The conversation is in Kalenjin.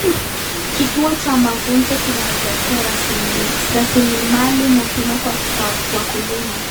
Kituo cha mafunzo kinaweza kuwa rasilimali muhimu kwa wakulima.